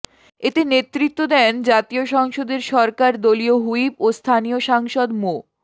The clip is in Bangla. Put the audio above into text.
এতে নেতৃত্ব দেন জাতীয় সংসদের সরকার দলীয় হুইপ ও স্থানীয় সাংসদ মো